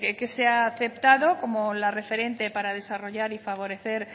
que se ha aceptado como la referente para desarrollar y favorecer